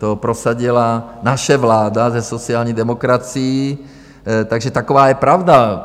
To prosadila naše vláda se sociální demokracií, takže taková je pravda.